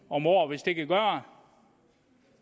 om året hvis det kan gøre